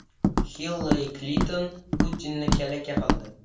Hillari Klinton Putinni kalaka qildi .